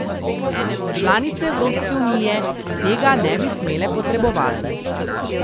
Članice Evropske unije tega ne bi smele potrebovati.